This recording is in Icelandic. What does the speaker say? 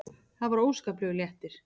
Það var óskaplegur léttir.